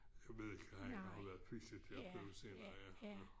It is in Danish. Jeg ved ikke han har været fysioterapeut sikkert ja